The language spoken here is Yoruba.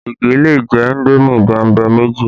Ige lè jẹ indomi bẹ̀mbẹ̀ méjì